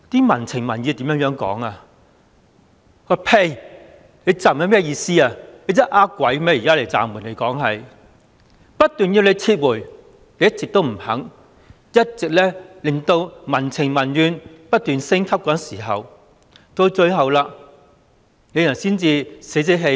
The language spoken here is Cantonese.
民情民意都指暫緩是欺騙市民，不斷要求政府撤回，它一直不肯撤回，令民怨不斷升級，到最後才晦氣地說撤回。